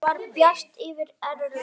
Það var bjart yfir Erlu.